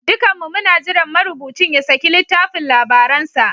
Dukanmu muna jiran marubucin ya saki littafin labaransa.